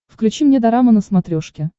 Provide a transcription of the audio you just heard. включи мне дорама на смотрешке